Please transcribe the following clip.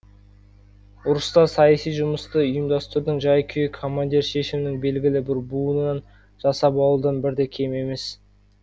ұрыста саяси жұмысты ұйымдастырудың жай күйі командир шешімінің белгілі бір буынын жасап алудан бір де кем емес